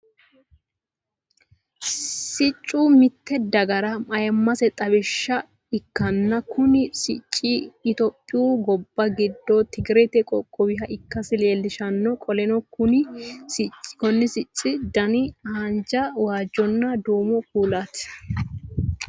Siccu mite gagara ayimase xawisha ikanna kunni sicci itophiyu gobba gido tigirete qoqqowuha ikasi leelishano. Qoleno kunni sicci danni haanja, waajohonna duumo kuulaati.